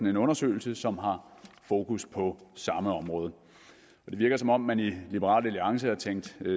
en undersøgelse som har fokus på samme område det virker som om man i liberal alliance har tænkt